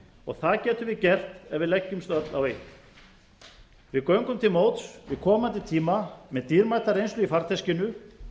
það getum við gert ef við leggjumst öll á eitt við göngum til móts við komandi tíma með dýrmæta reynslu í farteskinu